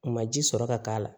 U ma ji sɔrɔ ka k'a la